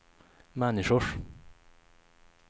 människors